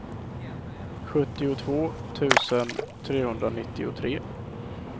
sjuttiotvå tusen trehundranittiotre